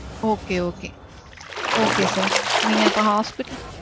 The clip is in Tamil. Okay. Okay. Okay sir. நீங்க அப்போ hospital.